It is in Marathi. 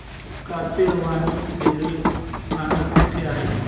काचेवानी रेल्वे स्थानक कुठे आहे